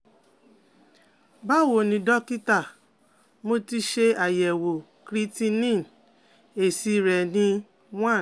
Báwo ni dọ́kítá, mo ti ṣe àyẹ̀wò creatinine, èsì rẹ ni 1